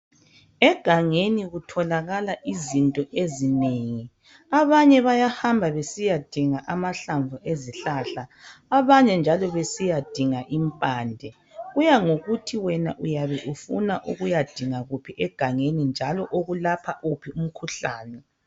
Egangeni kutholakala izinto ezinengi .Abanye bayahamba besiyadinga amahlamvu ezihlahla .Abanye njalo besiyadinga impande . Kuyangokuthi wena uyabe ufuna ukuyadinga kuphi egangeni .Njalo okulapha uphi umkhuhlane .